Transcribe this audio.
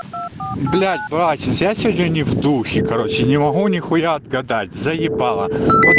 блять братец я сегодня не в духе короче не могу нихуя отгадать заебало вот